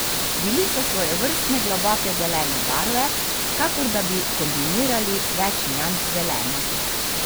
Bili so svojstvene globoko zelene barve, kakor da bi kombinirali več nians zelene.